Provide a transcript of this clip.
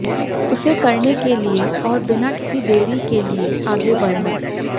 उसे करने के लिए और बिना किसी देरी के लिए आगे बढ़ना